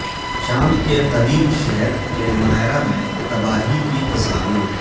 شام کے قدیم شہر پیلمائرا میں تباہی کی تصاویر